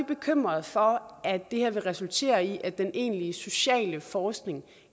bekymrede for at det her vil resultere i at den egentlige sociale forskning